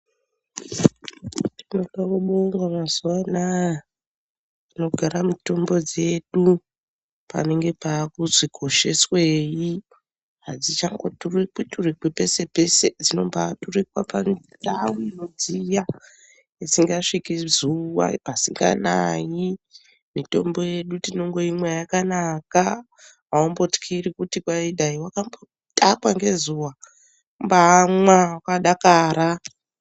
Tinopa kubonga mazuva ana panogara mitombo dzedu panenge pakuzi kosheswei. Adzichangoturikwi turikwi pese pese ,dzinombaturikwa patariko dziyo pasingasvikwi ngezuwa, pasinganayi. Mitombo yedu tinoimwa yakanaka .Atimbotyiri kuti pamwe yakambotakwa ngezuwa, kumbaamwa wakadakara.